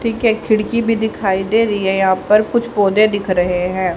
ठीक है खिड़की भी दिखाई दे रही है यहां पर और कुछ पौधे दिख रहे हैं।